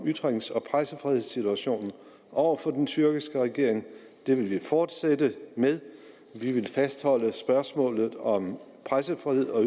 ytrings og pressefrihedssituationen over for den tyrkiske regering det vil vi fortsætte med vi vil fastholde spørgsmålet om pressefrihed og